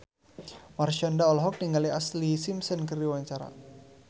Marshanda olohok ningali Ashlee Simpson keur diwawancara